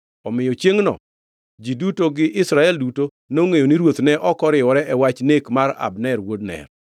Omiyo chiengʼno ji duto gi Israel duto nongʼeyo ni ruoth ne ok oriwore e wach nek mar Abner wuod Ner.